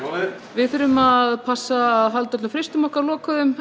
við þurfum að að halda öllum frystunum okkar lokuðum